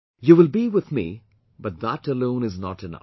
You will be with me but that alone is not enough